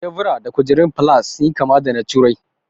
Tebura da kujerun food falas sun yi kama da na turai